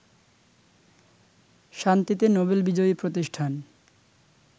শান্তিতে নোবেল বিজয়ী প্রতিষ্ঠান